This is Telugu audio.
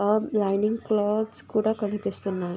హ లైనింగ్ క్లోత్స్ కూడా కనిపిస్తున్నాయి.